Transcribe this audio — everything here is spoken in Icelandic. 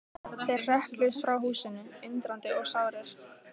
Þeir hrökkluðust frá húsinu, undrandi og sárir.